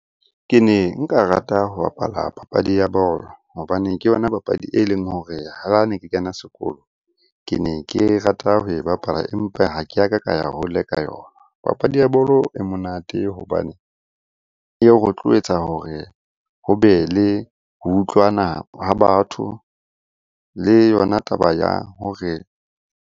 Ke ne nka rata ho bapala papadi ya bolo hobane ke yona papadi e leng hore ha ne ke kena sekolo. Ke ne ke rata ho e bapala, empa ha ke a ka ka ya hole ka yona. Papadi ya bolo e monate hobane eo rotloetsa hore ho be le ho utlwana ha batho le yona taba ya hore.